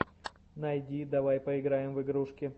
найди давай поиграем в игрушки